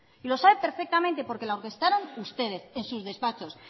y lo sabe perfectamente porque la orquestaron ustedes en sus despachos